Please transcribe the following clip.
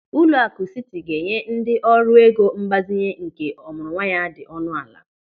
Ụlọakụ Siti ga-enye ndị ọrụ ego mgbazinye nke ọmụrụnwa ya dị ọnụ ala.